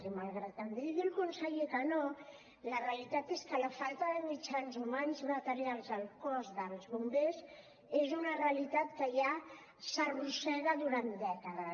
i malgrat que em digui el conseller que no la realitat és que la falta de mitjans humans i materials al cos dels bombers és una realitat que ja s’arrossega durant dècades